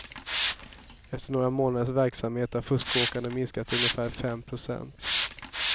Efter några månaders verksamhet har fuskåkandet minskat till ungefär fem procent.